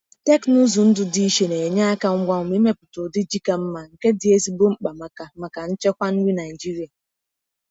Teknụzụ ndụ dị iche na-enye aka ngwa ngwa imepụta ụdị ji ka mma, nke dị ezigbo mkpa maka maka nchekwa nri Naịjịrịa.